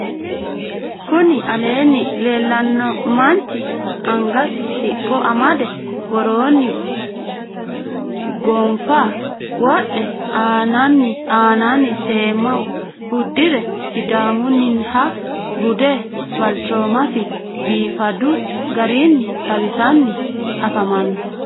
kuni aleenni leellanno manchi angasi siqqo amade woroonni gonfa wodhe aananni seemma uddire sidaamunniha bude balchoomasi biifadu garinni xawisanni afamanno.